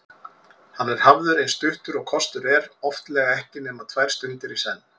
Hann er hafður eins stuttur og kostur er, oftlega ekki nema tvær stundir í senn.